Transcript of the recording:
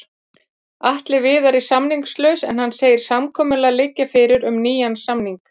Atli Viðar er samningslaus en hann segir samkomulag liggja fyrir um nýjan samning.